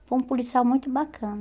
Foi um policial muito